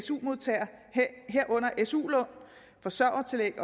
su modtagere herunder su lån forsørgertillæg